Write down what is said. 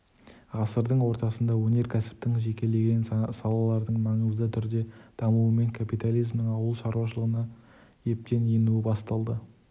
ғасырдың ортасында өнеркәсіптің жекелеген салаларының маңызды түрде дамуымен капитализмнің ауыл шаруашылығына ептеп енуі басталды